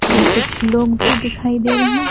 और कुछ लोग भी दिखाई दे रहे हैं।